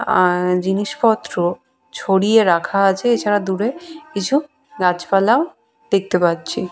আর জিনিসপত্র ছড়িয়ে রাখা আছে এছাড়া দূরে কিছু গাছপালাও দেখতে পাচ্ছি।